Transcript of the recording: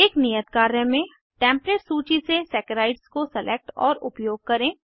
एक नियत कार्य में टेम्पलेट सूची से सैकराइड्स को सेलेक्ट और उपयोग करें